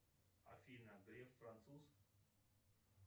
афина греф француз